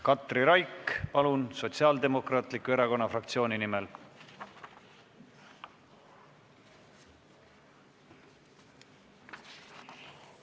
Katri Raik, palun, Sotsiaaldemokraatliku Erakonna fraktsiooni nimel!